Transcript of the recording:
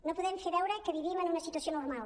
no podem fer veure que vivim en una situació normal